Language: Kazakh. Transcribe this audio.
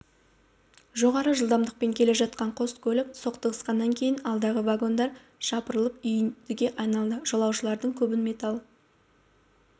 жоғары жылдамдықпен келе жатқан қос көлік соқтығысқаннан кейін алдындағы вагондар жапырылып үйіндіге айналды жолаушылардың көбін металл